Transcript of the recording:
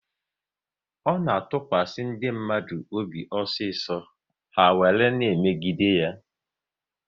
Ọ na-atụkwasị ndị mmadụ obi osiso, ha were na emegide ya